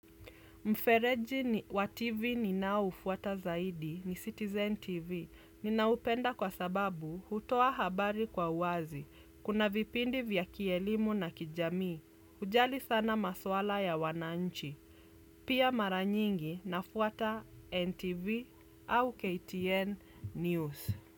Mfereji wa TV ninao ufuata zaidi ni Citizen TV ninaupenda kwa sababu hutoa habari kwa uwazi. Kuna vipindi vya kielimu na kijamii. Hujali sana maswala ya wananchi. Pia mara nyingi nafuata NTV au KTN News.